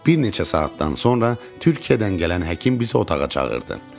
Bir neçə saatdan sonra Türkiyədən gələn həkim bizi otağa çağırdı.